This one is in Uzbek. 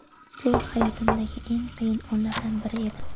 Bu hayotimdagi eng qiyin onlardan biri edi.